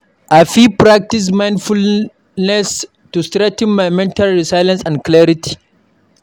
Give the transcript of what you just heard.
I fit practice mindfulness to strengthen my mental resilience and clarity.